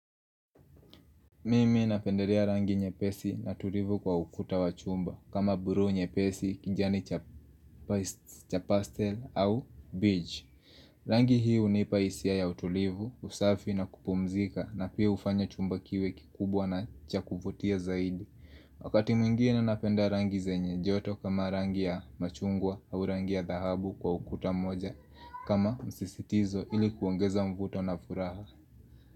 Mimi napendelea rangi nyepesi na tulivu kwa ukuta wa chumba kama buluu nyepesi, kijani cha pastel au beach. Rangi hii hunipa hisia ya utulivu, usafi na kupumzika na pia hufanya chumba kiwe kikubwa na cha kuvutia zaidi. Wakati mwingine napenda rangi zenye joto kama rangi ya machungwa au rangi ya dhahabu kwa ukuta moja kama msisitizo ili kuongeza mvuto na furaha.